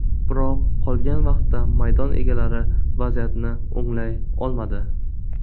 Biroq qolgan vaqtda maydon egalari vaziyatni o‘nglay olmadi.